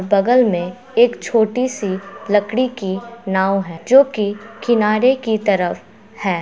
बगल में एक छोटी-सी लकड़ी की नाव है जो की किनारे की तरफ है।